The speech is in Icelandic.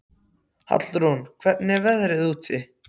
Hallrún, hvernig er veðrið úti?